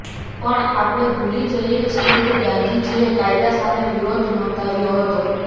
પણ આપણે ભૂલી જઈએ છીએ કે ગાંધીજીએ કાયદા સામે વિરોધ નોંધાવ્યો હતો